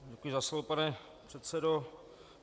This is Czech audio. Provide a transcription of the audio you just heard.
Děkuji za slovo, pane předsedo.